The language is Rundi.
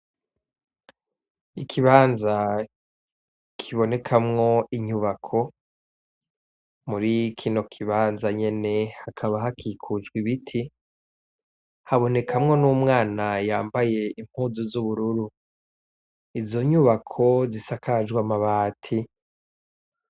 Ikibanza kibonekamwo inyubako, muri kino kibanza nyene hakaba hakikujwe ibiti, habonekamwo n'umwana yambaye impuzu z'ubururu, izo nyubako zisakajwe amabati.